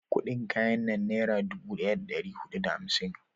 kudin kayan nan nera dubu daya da dari hudu da hamsin